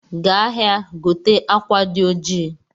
Gaa ahịa, gote akwa di oji